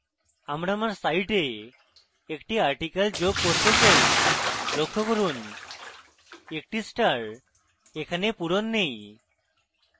আমি আমার সাইটে একটি article যোগ করতে চাই লক্ষ্য করুন একটি star এখানে পূরণ নেই